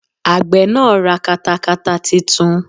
Àgbẹ̀ náà ra katakata titun